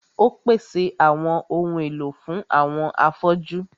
Ó pèsè àwọn ohun èlò fún àwọn afọ́jú.